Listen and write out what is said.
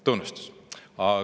Tunnustus!